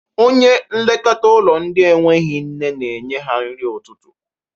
Onye nlekọta ụlọ ndị enweghi nne na-enye ha nri ụtụtụ.